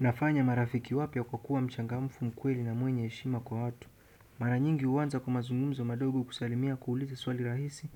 Nafanya marafiki wapya kwa kuwa mchangamfu, mkweli na mwenye heshima kwa watu mara nyingi huwanza kwa mazungumzo madogo, kusalimia, kuuliza swali rahisi,